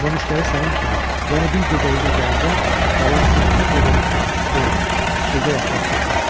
Amma müştəri sənin kimi, yəni bir gecəyinə gələndə balam üçün bütün gecəni orda, stulda yatmaq çətin olur.